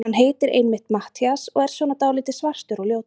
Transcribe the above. Hann heitir einmitt Matthías og er svona dáldið svartur og ljótur.